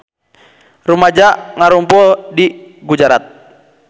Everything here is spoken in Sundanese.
Rumaja ngarumpul di Gujarat